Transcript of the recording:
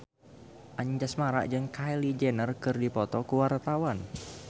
Anjasmara jeung Kylie Jenner keur dipoto ku wartawan